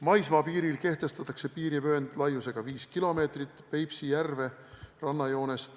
Maismaapiiril kehtestatakse piirivöönd laiusega 5 kilomeetrit.